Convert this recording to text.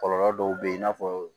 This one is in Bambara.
Kɔlɔlɔ dɔw bɛ yen i n'a fɔ